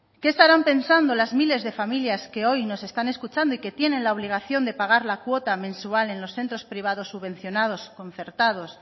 qué estarán pensando las miles de familias que hoy nos están escuchando y que tienen la obligación de pagar la cuota mensual en los centros privados subvencionados concertados